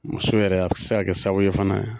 Muso yɛrɛ a bɛ se ka kɛ sababu ye fana